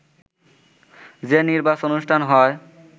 যে নির্বাচন অনুষ্ঠান হয়